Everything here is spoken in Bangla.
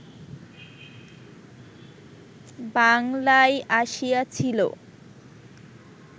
বাংলায় আসিয়াছিল